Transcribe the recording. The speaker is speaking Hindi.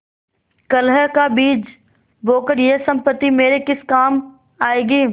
कलह का बीज बोकर यह सम्पत्ति मेरे किस काम आयेगी